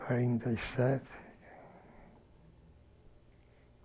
Quarenta e sete.